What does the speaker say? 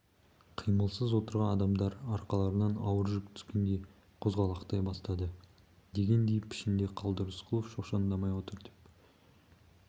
қимылсыз отырған адамдар арқаларынан ауыр жүк түскендей қозғалақтай бастады дегендей пішінде қалды рысқұлов шошаңдамай отыр деп